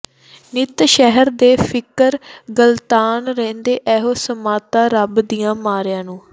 ਨਿਤ ਸ਼ਹਿਰ ਦੇ ਫਿਕਰ ਗਲਤਾਨ ਰਹਿੰਦੇ ਏਹੋ ਸ਼ਾਮਤਾ ਰੱਬ ਦਿਆਂ ਮਾਰਿਆਂ ਨੂੰ